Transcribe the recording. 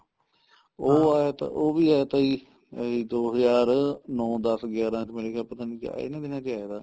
ਉਹ ਆਇਆ ਤਾ ਉਹ ਵੀ ਆਇਆ ਤਾ ਜੀ ਇਹੀ ਦੋ ਹਜਾਰ ਨੋਂ ਦਸ ਗਿਆਰਾ ਚ ਮੇਰੇ ਖਿਆਲ ਪਤਾ ਨੀਂ ਇਹਨਾ ਦਿਨਾ ਚ ਆਇਆ ਤਾ